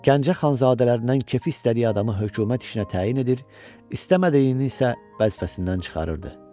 Gəncə xanzadələrindən kefi istədiyi adamı hökumət işinə təyin edir, istəmədiyini isə vəzifəsindən çıxarırdı.